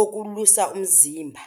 okulwisa umzimba.